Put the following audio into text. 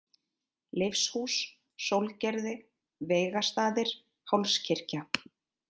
Leifshús, Sólgerði, Veigastaðir, Hálskirkja